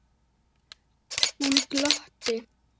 Hún glotti.